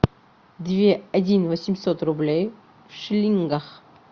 две один восемьсот рублей в шиллингах